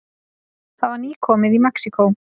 Það var nýkomið í Mexíkó.